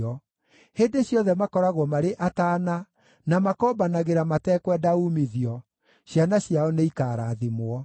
Hĩndĩ ciothe makoragwo marĩ ataana, na makombanagĩra matekwenda uumithio; ciana ciao nĩ ikaarathimwo.